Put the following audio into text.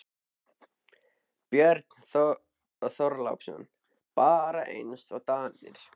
Björn Þorláksson: Bara eins og Danirnir?